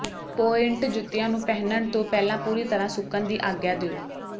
pointe ਜੁੱਤੀਆਂ ਨੂੰ ਪਹਿਨਣ ਤੋਂ ਪਹਿਲਾਂ ਪੂਰੀ ਤਰ੍ਹਾਂ ਸੁੱਕਣ ਦੀ ਆਗਿਆ ਦਿਓ